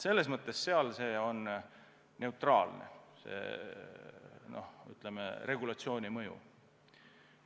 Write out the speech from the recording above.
Selles mõttes on regulatsiooni mõju neutraalne.